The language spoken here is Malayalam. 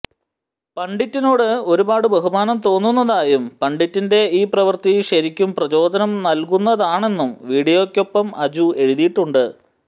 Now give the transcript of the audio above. പണ്ഡിറ്റിനോട് ഒരുപാട് ബഹുമാനം തോന്നുന്നതായും പണ്ഡിറ്റിന്റെ ഈ പ്രവൃത്തി ശരിക്കും പ്രചോദനം നൽകുന്നതാണെന്നും വിഡിയോക്കൊപ്പം അജു എഴുതിയിട്ടിട്ടുണ്ട്